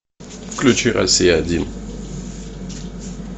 включи россия один